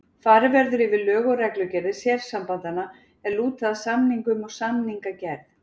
Farið verður yfir lög og reglugerðir sérsambandanna er lúta að samningum og samningagerð.